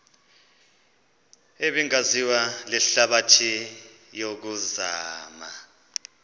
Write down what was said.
ebingaziwa lihlabathi yokuzama